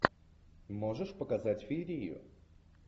можешь показать феерию